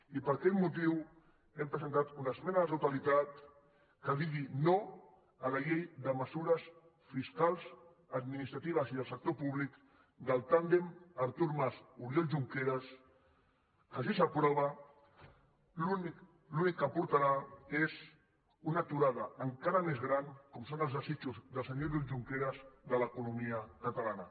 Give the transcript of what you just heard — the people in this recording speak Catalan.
i per aquest motiu hem presentat una esmena a la totalitat que digui no a la llei de mesures fiscals administratives i del sector públic del tàndem artur mas oriol junqueras que si s’aprova l’únic que aportarà és una aturada encara més gran com són els desitjos del senyor oriol junqueras de l’economia catalana